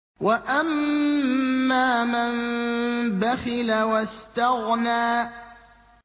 وَأَمَّا مَن بَخِلَ وَاسْتَغْنَىٰ